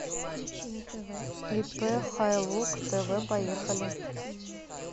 ип хайлук тв поехали